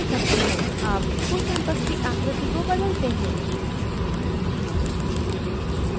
अब school campus की आकृति को बदलते हैं